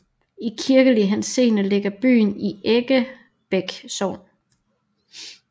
I kirkelig henseende ligger byen i Eggebæk Sogn